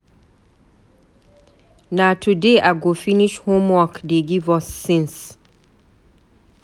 Na today I go finish homework dey give us since.